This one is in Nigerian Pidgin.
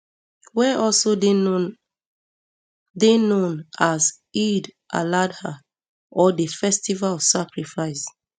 wey also dey known dey known as eid aladha or di festival of sacrifice